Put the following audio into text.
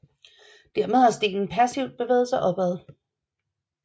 Dermed har stenen passivt bevæget sig opad